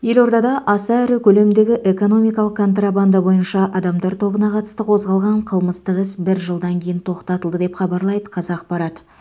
елордада аса ірі көлемдегі экономикалық контрабанда бойынша адамдар тобына қатысты қозғалған қылмыстық іс бір жылдан кейін тоқтатылды деп хабарлайды қазақпарат